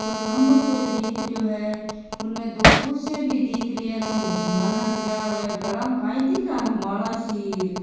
पर खम्बो सा दिख रहियो है बुने दो कुर्सियां भी दिख रही है और कोई मुसलमाना का बिया होया --